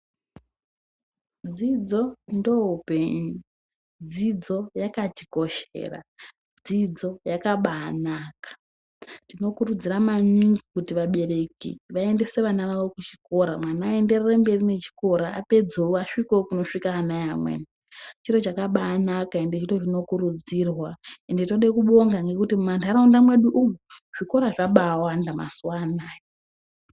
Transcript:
Dzidzo ndoupenyu dzidzo yaka tikoshera dzidzo yakabainaka tinokurudzira maningi kuti vabereki vaendese vana vavo kuzvikora mwana aenderere mberi nechikora apedze asvikewo kunosvikawo wana vevamweni chiro chakambai naka ende ndochinokurudzirwa ende tode kubonga nekuti mumandaraunda medu umu zvikora zvabaiwanda mazuva anaya.